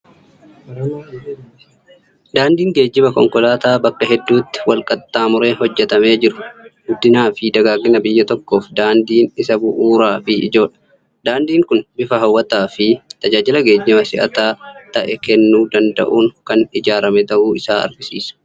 Daandii geejjiba konkolaataa bakka hedduutti wal-qaxxaamuree hojjetamee jiru. Guddinaa fi dagaagina biyya tokkoof daandiin isa bu'uuraa fi ijoodha. Daandiin kun bifa hawwataa fi tajaajila geejjibaa si'ataa ta'e kennuu danda'uun kan ijaarame ta'uu isaa argisiisa.